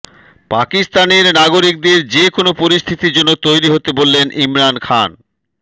পাকিস্তানের নাগরিকদের যে কোনও পরিস্থিতির জন্য তৈরি হতে বললেন ইমরান খান